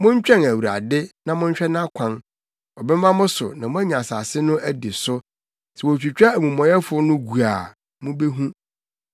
Montwɛn Awurade na monhwɛ nʼakwan. Ɔbɛma mo so na moanya asase no adi so; sɛ wotwitwa amumɔyɛfo no gu a, mubehu.